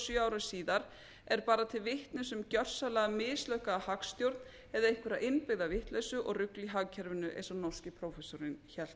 sjö árum síðar er bara til vitnis um gjörsamlega mislukkaða hagstjórn eða einhverja innbyggða vitleysu og rugl í hagkerfinu eins og norski prófessorinn hélt